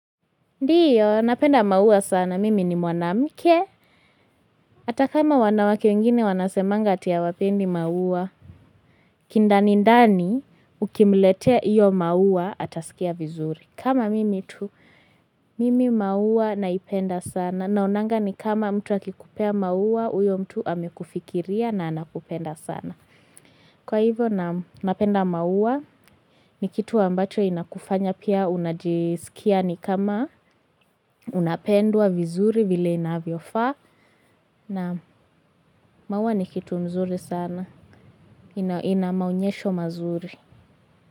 Ndio, napenda maua sana, mimi ni mwanamke. Hata kama wanawake wengine wanasemanga ati hawapendi maua. Kindani ndani, ukimletea hiyo maua, atasikia vizuri. Kama mimi tu, mimi maua naipenda sana. Naonanga ni kama mtu akikupea maua, huyo mtu amekufikiria na anakupenda sana. Kwa hivyo na napenda maua ni kitu ambacho inakufanya pia unajisikia ni kama unapendwa vizuri vile inavyofaa na maua ni kitu mzuri sana ina maonyesho mazuri.